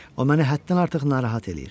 O məni həddən artıq narahat eləyir.